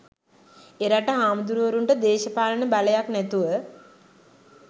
එරට හාමුදුරුවරුන්ට දේශපාලන බලයක් නැතුව